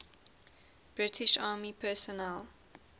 british army personnel